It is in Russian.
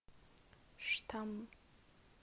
штамм